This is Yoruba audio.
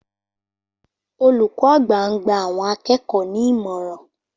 Olùkó àgbà ń gba àwọn akẹ́kọ̀ọ́ ní ìmọ̀ràn